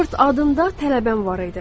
Robert adında tələbəm var idi.